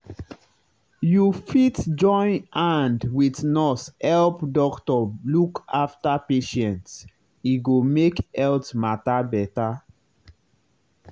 you fit join hand wit nurse help doctor look after patient e go make health matter better.